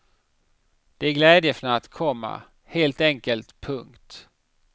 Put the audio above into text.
Det är glädjefnatt, komma helt enkelt. punkt